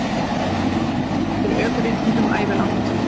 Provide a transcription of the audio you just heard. Hann er jafnframt sviptur ökuréttindum ævilangt